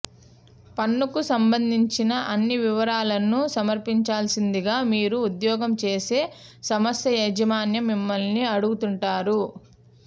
పన్నుకు సంబంధించిన అన్ని వివరాలను సమర్పించాల్సిందిగా మీరు ఉద్యోగం చేసే సంస్థ యాజమాన్యం మిమ్మల్ని అడుగుతుంటారు